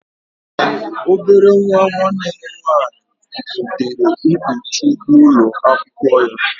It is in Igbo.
Obere nwa nwanne m nwaanyị butere Ikpechu n'ụlọ akwụkwọ ya